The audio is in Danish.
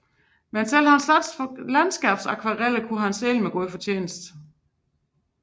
Men selv hans landskabsakvareller kunne han sælge med fortjeneste